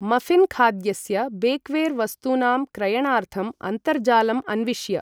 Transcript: मऴिन् खाद्यस्य बेक्वेर् वस्तूनां क्रयणार्थम् अन्तर्जालम् अन्विष्य